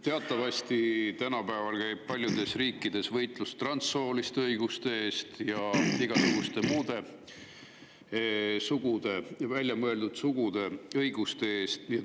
Teatavasti tänapäeval käib paljudes riikides võitlus transsooliste õiguste eest ja igasuguste muude, välja mõeldud sugude õiguste eest.